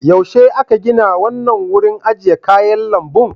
Yaushe aka gina wannan wurin ajiye kayan lambun?